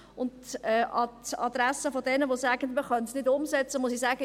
An die Adresse derer, die sagen, man könne es nicht umsetzen, muss ich sagen: